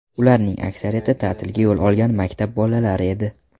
Ularning aksariyati – ta’tilga yo‘l olgan maktab bolalari edi.